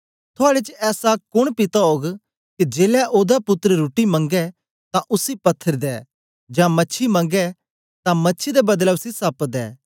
थुआड़े च ऐसा कोन पिता ओग के जेलै ओदा पुत्तर रुट्टी मंगै तां उसी पत्थर दे जां मछी मंगै तां मछी दे बदले उसी सप्प दे